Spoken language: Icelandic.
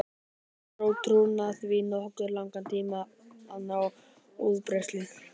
Það tók trúna því nokkuð langan tíma að ná útbreiðslu.